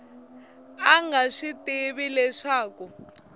a nga swi tivi leswaku